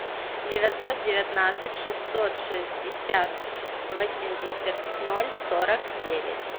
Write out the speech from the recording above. девятьсот девятнадцать шестьсот шестьдесят восемьдесят ноль сорок девять